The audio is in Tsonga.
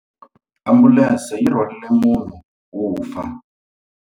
Ambulense yi rhwarile munhu wo fa.